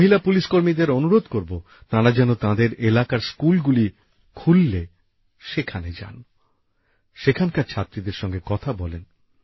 মহিলা পুলিশকর্মীদের অনুরোধ করব তাঁরা যেন তাঁদের এলাকার স্কুলগুলি খুললে সেখানে যান সেখানকার ছাত্রীদের সঙ্গে কথা বলেন